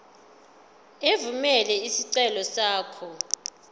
evumela isicelo sakho